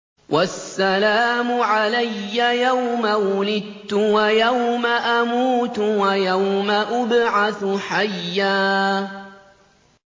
وَالسَّلَامُ عَلَيَّ يَوْمَ وُلِدتُّ وَيَوْمَ أَمُوتُ وَيَوْمَ أُبْعَثُ حَيًّا